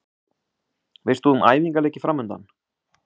Veist þú um æfingaleiki framundan?